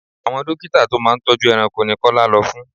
Àwon dókítà tó máa ń tọ́jú ẹranko ni Kọ́lá lọ fún.